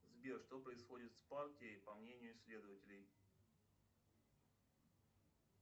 сбер что происходит с партией по мнению исследователей